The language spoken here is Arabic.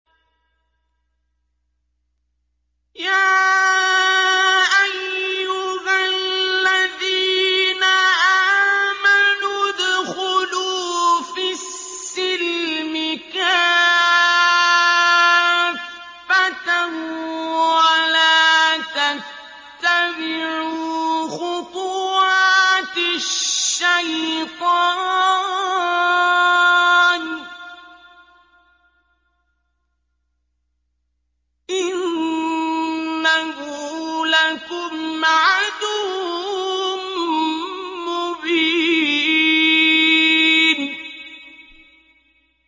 يَا أَيُّهَا الَّذِينَ آمَنُوا ادْخُلُوا فِي السِّلْمِ كَافَّةً وَلَا تَتَّبِعُوا خُطُوَاتِ الشَّيْطَانِ ۚ إِنَّهُ لَكُمْ عَدُوٌّ مُّبِينٌ